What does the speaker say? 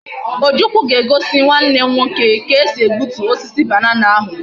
Ojukwu ga egosi Nwa nne nwoke ka esi egbutu osisi banana ahu